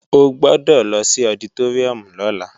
O gbọ́dọ̀ lọ sí ọditóríùm lọ́la